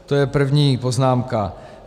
To je první poznámka.